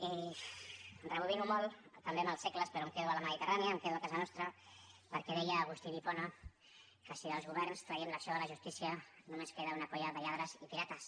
i rebobino molt també amb els segles però em quedo en la mediterrània em quedo a casa nostra perquè deia agustí d’hipona que si dels governs traiem l’acció de la justícia només en queda una colla de lladres i pirates